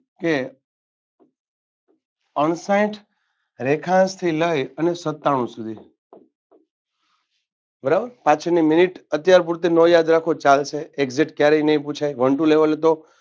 કે અણસાઈઠ રેખાંશથી લઈ અને સત્તાણુ સુધી બરાબર પાંછડની મિનિટ અત્યાર પૂરતી ન યાદ રાખો તો ચાલશે exact જે ક્યારેય નઈ પૂછાય one two લેવલે તો